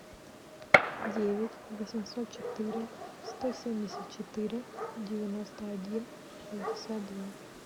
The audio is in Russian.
девять восемьсот четыре сто семьдесят четыре девяносто один шестьдесят два